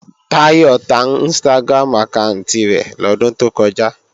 Táyọ̀ ta Instagram àkáànti rẹ̀ lọ́dún tó kọjá